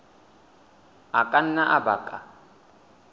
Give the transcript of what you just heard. a ka nna a baka